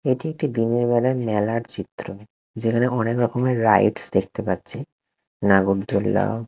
এটি একটি দিনের বেলার মেলার চিত্র যেখানে অনেক রকমের রাইডস দেখতে পাচ্ছি নাগরদোলনা।